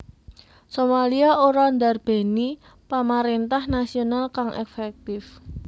Somalia ora ndarbèni pamaréntah nasional kang efektif